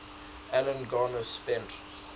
alan garner spent